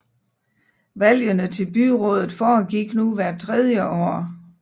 Valgene til byrådet foregik nu hvert tredje år